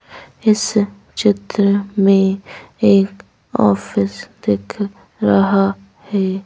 इस चित्र मेंएक ऑफिस दिखरहा है।